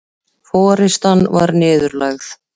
Forystan var niðurlægð